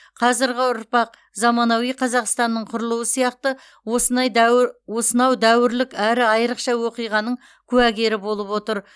қазіргі ұрпақ заманауи қазақстанның құрылуы сияқты осынай дәуі осынау дәуірлік әрі айырықша оқиғаның куәгері болып отыр